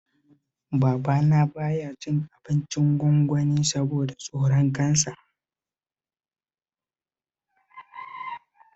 Babana ba ya cin abincin gwangwani saboda tsoron Cancer